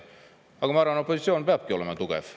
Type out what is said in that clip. Aga ma arvan, et opositsioon peabki olema tugev.